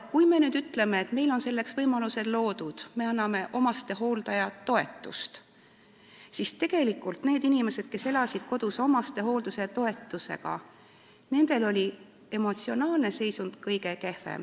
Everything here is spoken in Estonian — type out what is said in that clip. Kui me nüüd ütleme, et meil on selleks võimalused loodud, me anname hooldajatoetust, siis tegelikult on aga selgunud, et nendel hooldatavatel, kes elasid kodus ja kelle hooldamise eest maksti hooldajatoetust, oli emotsionaalne seisund kõige kehvem.